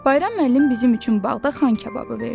Bayram müəllim bizim üçün bağda xan kababı verdi.